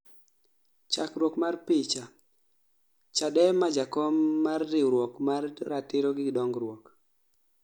chakruok mar picha , Chadema jakom ma riwruok mar ratiro gi dongruok